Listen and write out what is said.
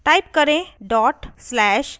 type करें:dot slash abs